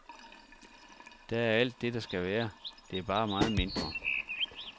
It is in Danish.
Der er alt det, der skal være, det er bare meget mindre.